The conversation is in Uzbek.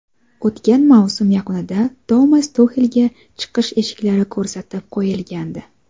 O‘tgan mavsum yakunida Tomas Tuxelga chiqish eshiklari ko‘rsatib qo‘yilgandi.